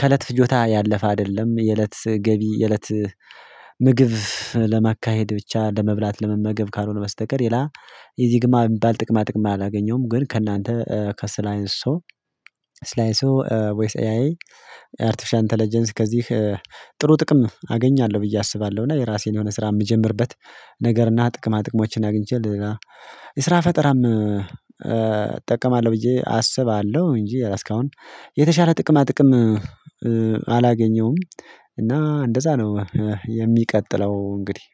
ከእለት ፍጆታ ያለፋ አይደለም የእለት ገቢ የእለት ምግብ ለማካሄድ ብቻ ለመብላት ለመመገብ ካልሆነ በስተቀር ይላ የዚህ ግማ የሚባል ጥቅማ ጥቅም አላገኘሁም። ግን ከእናንተ ከስላይንስ ሰው ስላይንስ ሰው ወይስ ኤአይ አርቲፊሻል ኢንተለጀንስ ከዚህ ጥሩ ጥቅም አገኛለሁ። ብዬ አስባለሁ እና የራሴን የሆነ ስራ የምጀምርበት ነገር እና ጥቅማ ጥቅሞችን ያግኝቻል የስራ ፈጠራም እጠቀማለሁ ብዬ አሰባለሁ። እንጂ እስካሁን የተሻለ ጥቅማ ጥቅም አላገኘውም። እና እንደዛ ነው የሚቀጥለው እንግዲህ